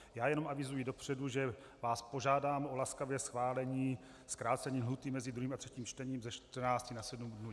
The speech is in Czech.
Já jenom avizuji dopředu, že vás požádám o laskavé schválení zkrácení lhůty mezi 2. a 3. čtením ze 14 na 7 dnů.